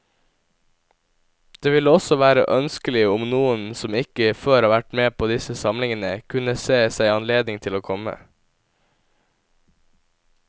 Det ville også være ønskelig om noen som ikke før har vært med på disse samlingene, kunne se seg anledning til å komme.